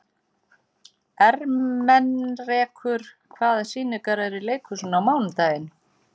Ermenrekur, hvaða sýningar eru í leikhúsinu á mánudaginn?